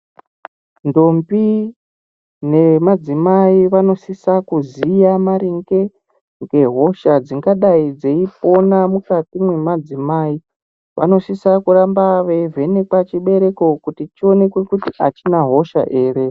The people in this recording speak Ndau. Ntombi nemadzimai vanosisa kuziya maringe ngehosha dzingadai dzei fona mukati mwemadzimai vanosisa kuramba veivhenekwa chibhereko kuti chionekwe kuti achina hosha here.